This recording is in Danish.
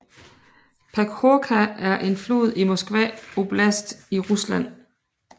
Pekhórka er en flod i Moskva oblast i Rusland